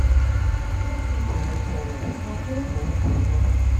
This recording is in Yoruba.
ó fi tọ̀wọ̀tọ̀wọ̀ sọ pé òun kò lọ